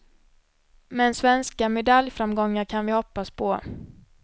Men svenska medaljframgångar kan vi hoppas på.